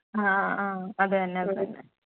ആഹ് ആഹ് അത് തന്നെ അത് തന്നെ